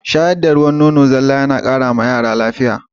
Shayar da ruwan nonon zalla yana ƙara wa yara lafiya